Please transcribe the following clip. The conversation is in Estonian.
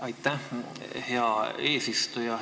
Aitäh, hea eesistuja!